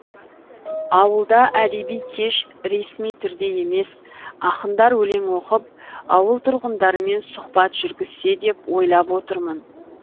ауылда әдеби кеш ресми түрде емес ақындар өлең оқып ауыл тұрғындарымен сұхбат жүргізсе деп ойлап отырмын